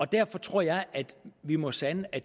derfor tror jeg at vi må sande at